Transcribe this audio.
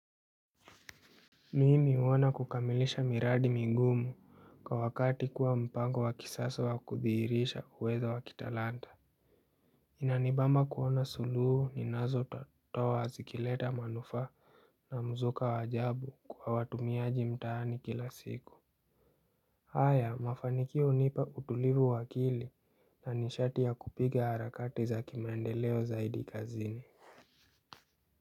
Mimi huona kukamilisha miradi migumu kwa wakati kuwa mpango wa kisasa wa kudhihirisha uwezo wa kitalanta. Inanibama kuona suluhu ninazotoa zikileta manufaa na mzuka wa ajabu kwa watumiaji mtanii kila siku. Haya mafanikio hunipa utulivu wa akili na nishati ya kupiga harakati za kimaendeleo zaidi kazini.